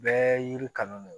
Bɛɛ yiri kanu de ye